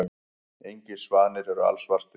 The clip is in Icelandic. Engir svanir eru alsvartir.